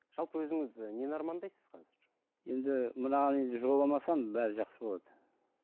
жалпы өзіңіз і нені армандайсыз қазір енді мынаған енді жоламасам бәрі жақсы болады